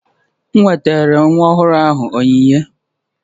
M wetara nwa ọhụrụ ahụ onyinye